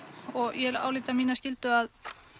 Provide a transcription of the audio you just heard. og ég álít það mína skyldu að